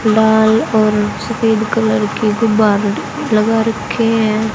लाल और सफेद कलर के गुब्बारे लगा रखे हैं।